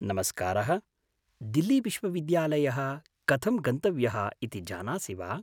नमस्कारः, दिल्लीविश्वविद्यालयः कथं गन्तव्यः इति जानासि वा?